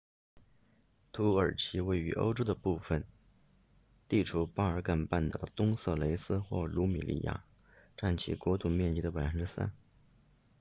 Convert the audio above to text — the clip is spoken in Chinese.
土耳其位于欧洲的部分地处巴尔干半岛的东色雷斯或鲁米利亚占其国土面积的 3％